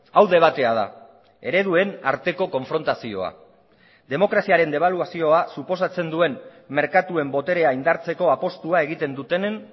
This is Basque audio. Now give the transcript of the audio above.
hau debatea da ereduen arteko konfrontazioa demokraziaren debaluazioa suposatzen duen merkatuen boterea indartzeko apustua egiten dutenen